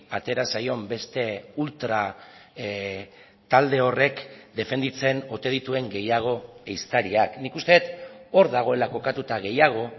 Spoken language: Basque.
atera zaion beste ultra talde horrek defenditzen ote dituen gehiago ehiztariak nik uste dut hor dagoela kokatuta gehiago